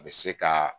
A bɛ se ka